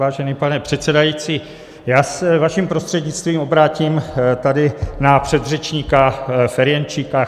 Vážený pane předsedající, já se vaším prostřednictvím obrátím tady na předřečníka Ferjenčíka.